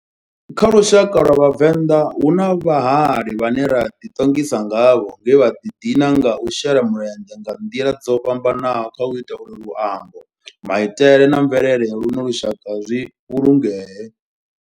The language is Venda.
Kha lushaka lwa vhavenḓa, hu na vhahali vhane ra di tongisa ngavho nge vha di dina nga u shela mulenzhe nga ndila dzo fhambananaho khau ita uri luambo, maitele na mvelele ya luno lushaka zwi vhulungee.